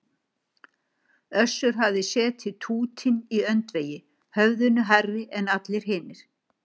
Össur hafði setið tútinn í öndvegi, höfðinu hærri en allir hinir.